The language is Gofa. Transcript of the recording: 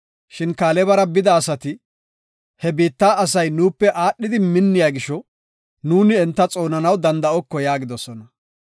Shin Kaalebara bida asati, “He biitta asay nuupe aadhidi minniya gisho, nuuni enta xoonanaw danda7oko” yaagidosona.